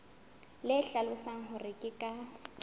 le hlalosang hore ke ka